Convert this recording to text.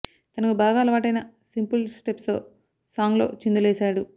తనకు బాగా అలవాటైన సింపుల్ స్టెప్స్ తో సాంగ్ లో చిందులేశాడు